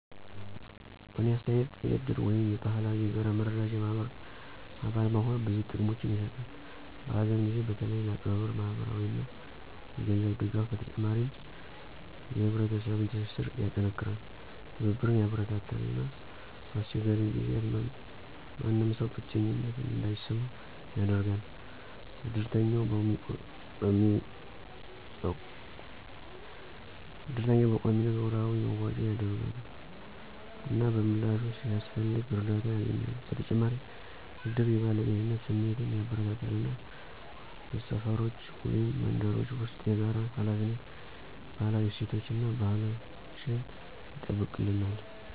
በእኔ አስተያየት የእድር ወይም የባህላዊ የጋራ መረዳጃ ማህበር አባል መሆን ብዙ ጥቅሞችን ይሰጣል። በሀዘን ጊዜ በተለይ ለቀብር ማህበራዊ እና የገንዘብ ድጋፍ በተጨማሪም የህብረተሰብን ትስስር ያጠናክራል፣ ትብብርን ያበረታታል እና በአስቸጋሪ ጊዜያት ማንም ሰው ብቸኝነት እንዳይሰማው ያደርጋል። እድርተኛው በቆሚነት ወራዊ መዋጮ ያደርጋሉ፣ እና በምላሹ፣ ሲያስፈልግ እርዳታ ያገኛሉ። በተጨማሪም እድር የባለቤትነት ስሜትን ያበረታታል እና በሰፈሮች ወይም መንደሮች ውስጥ የጋራ ሃላፊነትን፣ ባህላዊ እሴቶቻችን እና ባህላችን ይጠብቅልነል።